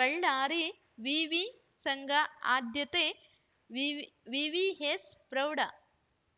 ಬಳ್ಳಾರಿ ವಿವಿ ಸಂಘ ಆದ್ಯತೆ ವಿ ವಿವಿಎಸ್‌ ಪ್ರೌಢ